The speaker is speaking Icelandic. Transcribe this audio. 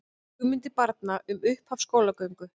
Hugmyndir barna um upphaf skólagöngu